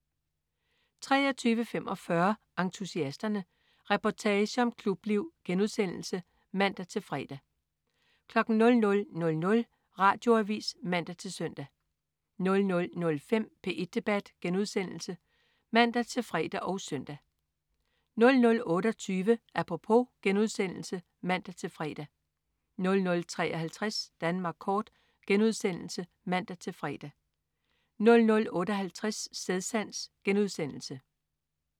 23.45 Entusiasterne. Reportage om klubliv* (man-fre) 00.00 Radioavis (man-søn) 00.05 P1 Debat* (man-fre og søn) 00.28 Apropos* (man-fre) 00.53 Danmark kort* (man-fre) 00.58 Stedsans*